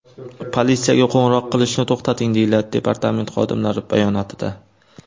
Politsiyaga qo‘ng‘iroq qilishni to‘xtating”, deyiladi departament xodimlari bayonotida.